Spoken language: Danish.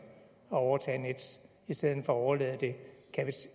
at overtage nets i stedet for at overlade det